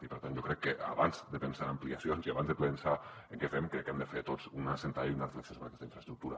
i per tant jo crec que abans de pensar en ampliacions i abans de pensar en què fem hem de fer tots una sentada i una reflexió sobre aquesta infraestructura